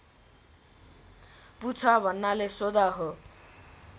पुछ भन्नाले सोध हो